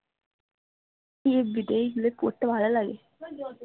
FB তে এগুলো পড়তে ভালো লাগে